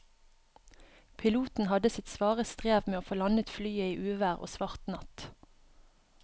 Piloten hadde sitt svare strev med å få landet flyet i uvær og svart natt.